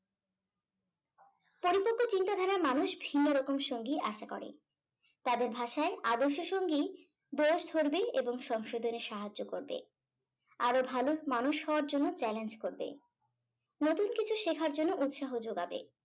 পরিপক্ক চিন্তা ধারার মানুষ ভিন্ন রকম সঙ্গী আশা করে তাদের ভাষায় আদর্শ সঙ্গী দোষ ধরবে এবং সংশোধনে সাহায্য করবে আরো ভালো মানুষ হওয়ার জন্য challenge করবে নতুন কিছু শেখার জন্য উৎসাহ যোগাবে